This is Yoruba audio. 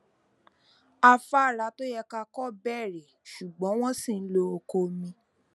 afára tó yẹ ká kọ bẹrẹ ṣùgbọn wọn ṣi ń lo ọkọ omi